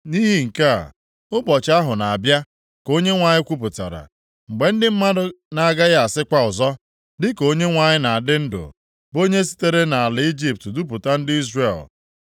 “Nʼihi nke a, ụbọchị ahụ na-abịa,” ka Onyenwe anyị kwupụtara, “mgbe ndị mmadụ na-agaghị asịkwa ọzọ, ‘Dịka Onyenwe anyị na-adị ndụ, bụ onye sitere nʼala Ijipt dupụta ndị Izrel,’